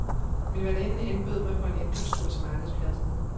Min værtinde indbød mig på en indkøbstur til markedspladsen.